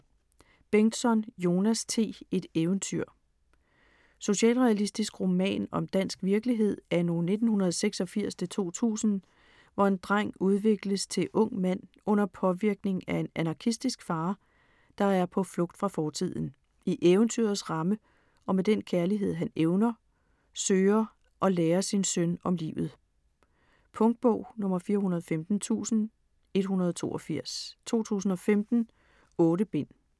Bengtsson, Jonas T.: Et eventyr Socialrealistisk roman om dansk virkelighed anno 1986-2000, hvor en dreng udvikles til ung mand under påvirkning af en anarkistisk far, der på flugt fra fortiden, i eventyrets ramme, og med den kærlighed han evner, søger at lære sin søn om livet. Punktbog 415182 2015. 8 bind.